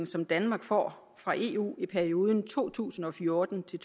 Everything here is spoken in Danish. som danmark får fra eu i perioden to tusind og fjorten til